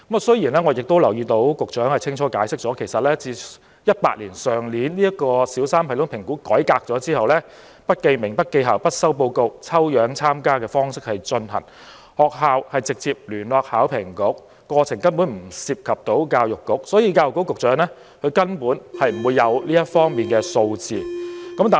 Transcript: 雖然我留意到局長清楚解釋，其實去年2018年小三全港性系統評估改革後，是不記名、不記校、不收報告，以抽樣參加的方式進行，學校直接聯絡香港考試及評核局，過程根本不涉及教育局，所以教育局局長不會有這方面的數字。